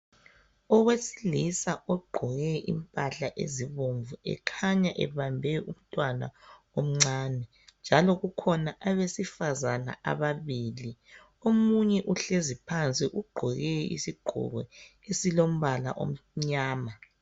Owesilisa ogqoke impahla ezibomvu ekhanya ebambe umtwana omncane njalo kukhona abesifazana ababili omunye uhlezi phansi ugqoke isigqoko esilombzla omnyama